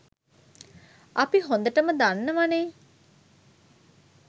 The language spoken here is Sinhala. අපි හොඳටම දන්නවනේ